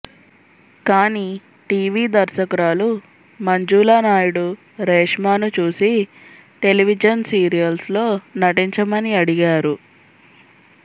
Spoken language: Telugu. కానీ టీవీ దర్శకురాలు మంజులా నాయుడు రేష్మాను చూసి టెలివిజన్ సీరియల్స్లో నటించమని అడిగారు